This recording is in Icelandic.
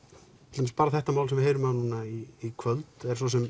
til dæmis bara þetta mál sem að við heyrum af núna í kvöld